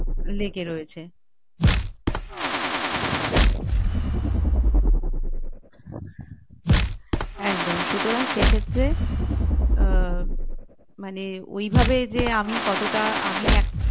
লেগে রয়েছে একদম সুতরাং সেক্ষেত্রে আহ মানে ওইভাবে যে আমি কতোটা আমি একটা